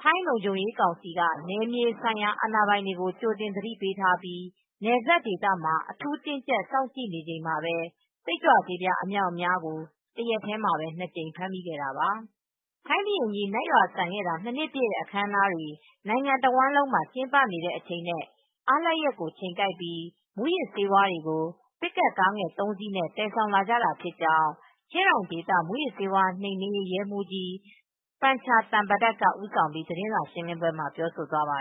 ထိုင်းလုံခြုံရေးကောင်စီက နယ်မြေဆိုင်ရာ အာဏာပိုင်တွေကို ကြိုတင်သတိပေးထားပြီး နယ်စပ်ဒေသ မှာ အထူးတင်းကြပ်စောင့်ကြည့်နေတဲ့အချိန်မှာပဲ စိတ်ကြွဆေးပြား အမြောက်အများကို တရက်ထဲမှာပဲနှစ်ကြိမ် ဖမ်းမိခဲ့တာပါ။ ထိုင်းဘုရင်ကြီး နတ်ရွာစံ ခဲ့တာ နှစ်နှစ်ပြည့်တဲ့ အခမ်းအနားတွေ နိုင်ငံတဝန်းမှာ ကျင်းပနေတဲ့အချိန်နဲ့ အားလပ်ရက်ကို ချိန်ကိုက်ပြီး မူးယစ်ဆေး တွေကို ပစ်ကပ်ကားငယ်သုံးစီးနဲ့ သယ်လာကြတာဖြစ်ကြောင်း ချင်းရိုင်ဒေသ မူးယစ်ဆေးဝါး နိမ်နင်းရေး ရဲမှူးကြီး ပန်ချာ သန့်ပဒတ် ကဦးဆောင်ပြီး သတင်းစာရှင်းပွဲမှာ ပြောဆိုသွားပါ